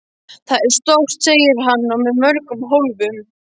Það er stórt, segir hann, og með mörgum hólfum.